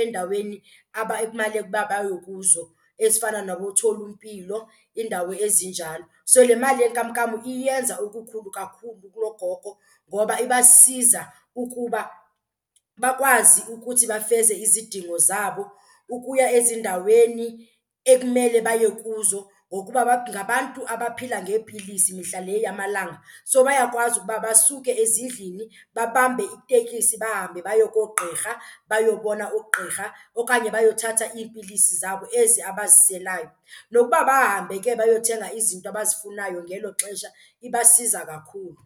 endaweni ekumele uba baye kuzo ezifana nabootholimpilo, iindawo ezinjalo. So le mali yenkamnkam iyenza okukhulu kakhulu kuloo gogo ngoba ibasiza ukuba bakwazi ukuthi bafeze izidingo zabo, ukuya ezindaweni ekumele baye kuzo ngokuba ngabantu abaphila ngeepilisi mihla le yamalanga. So bayakwazi ukuba basuke ezindlini babambe iteksi bahambe baye koogqirha, bayobona ugqirha okanye bayothatha iipilisi zabo ezi abaziselayo. Nokuba bahambe ke bayothenga izinto abazifunayo ngelo xesha ibasiza kakhulu.